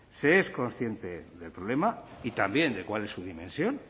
se es consciente del problema y también de cuál es su dimensión